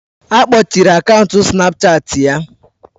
Akpochiri akaụntụ snapchaati ya